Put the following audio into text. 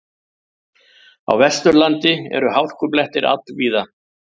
Á Vesturlandi eru hálkublettir all víða